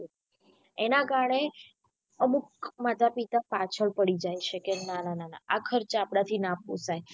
એના કારણે અમુક માતા પિતા પાછળ પડી જાય છે કે ના ના ના ના કે આ ખર્ચ આપડા થી ના પોસાય.